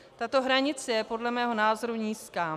Tato hranice je podle mého názoru nízká.